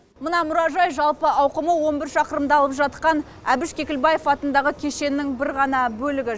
мына мұражай жалпы ауқымы он бір шақырымды алып жатқан әбіш кекілбаев атындағы кешеннің бір ғана бөлігі